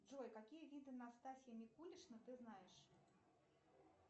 джой какие виды настасья микулишна ты знаешь